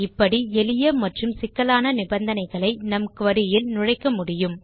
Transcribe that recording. இப்படி எளிய மற்றும் சிக்கலான நிபந்தனைகளை நம் குரி இல் நுழைக்க முடியும்